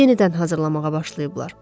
Yenidən hazırlamağa başlayıblar.